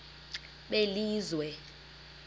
belizwe